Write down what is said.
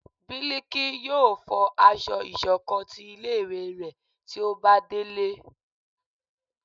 Biliki yóò fọ aṣọ ìṣọ̀kan tí ilé ìwé ré tí ó ba delé